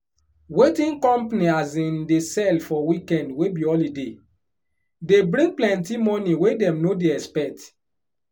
wetin company um dey sell for weekend wey be holiday dey bring plenty money wey dem no dey expect